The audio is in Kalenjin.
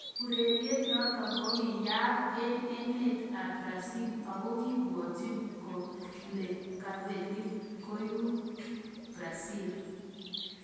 Ureriet noto kokiyayak eng emer ab Brazil akokibwatchin kolekapelik koeku Brazil.